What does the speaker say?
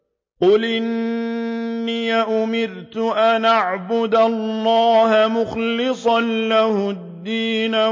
قُلْ إِنِّي أُمِرْتُ أَنْ أَعْبُدَ اللَّهَ مُخْلِصًا لَّهُ الدِّينَ